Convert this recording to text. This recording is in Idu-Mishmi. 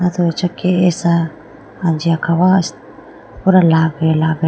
aye do acha kesha anji akhawa pura lage lage.